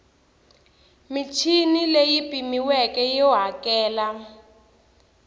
michini leyi pimiweke yo hakela